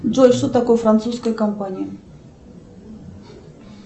джой что такое французская компания